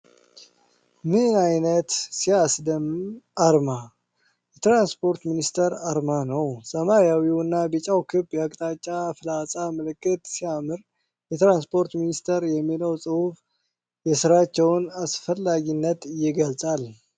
ምን አይነት!! ሲያስደምም! አርማ! የትራንስፖርት ሚኒስቴር አርማ ነው። ሰማያዊውና ቢጫው ክብ የአቅጣጫ ፍላጻ ምልክት ሲያምር! 'የትራንስፖርት ሚኒስቴር' የሚለው ጽሑፍ የሥራቸውን አስፈላጊነት ይገልጻል!